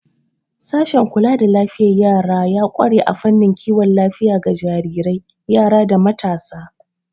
Sashen kula da lafiyar yara ya ƙware a fannin kiwon lafiya ga jarirai, yara, da matasa.